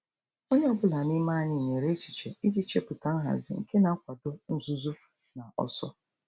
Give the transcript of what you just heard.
Onye ọ bụla n'ime anyị nyere echiche iji chepụta nhazi nke na-akwado nzuzo na ọsọ.